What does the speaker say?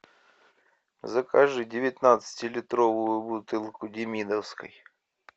закажи девятнадцати литровую бутылку демидовской